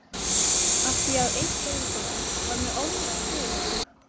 Af því að einkavinkonan var með ofnæmi fyrir honum!